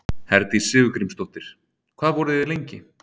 Herdís Sigurgrímsdóttir: Hvað voru þið lengi?